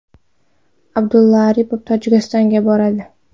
Abdulla Aripov Tojikistonga boradi.